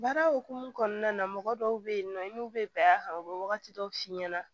Baara hokumu kɔnɔna na mɔgɔ dɔw bɛ yen nɔ i n'u bɛ bɛn a kan u bɛ wagati dɔw f'i ɲɛna